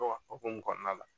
Dɔw ka hokumu kɔnɔna la